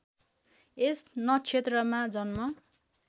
यस नक्षत्रमा जन्म